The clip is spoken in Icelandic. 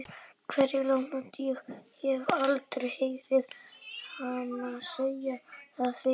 Kverúlantar- ég hef aldrei heyrt hana segja það fyrr.